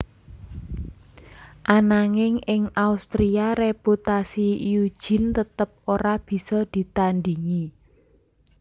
Ananging ing Austria reputasi Eugene tetep ora bisa ditandingi